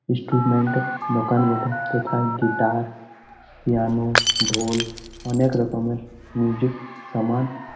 instrument -এর দোকান বটে যেথায় গিটার পিয়ানো ঢোল অনেক রকমের মিউজিক সামান--